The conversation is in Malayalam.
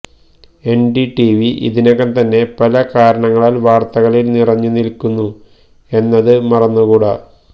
എൻഡിടിവി ഇതിനകം തന്നെ പല കാരണങ്ങളാൽ വാർത്തകളിൽ നിറഞ്ഞു നിൽക്കുന്നു എന്നത് മറന്നുകൂടാ